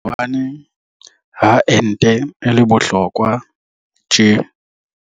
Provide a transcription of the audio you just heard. Hobaneng ha ente e le bohlokwa tje?